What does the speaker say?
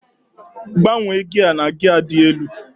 gbanwee gia na gia dị elu